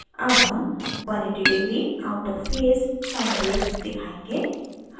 अब हम 180 degree out of phase sine waves दिखायेंगे